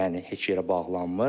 yəni heç yerə bağlanmır.